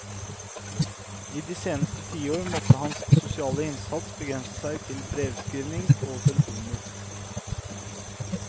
I de seneste tiår måtte hans sosiale innsats begrense seg til brevskrivning og telefoner.